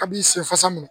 A b'i sen fasa minɛ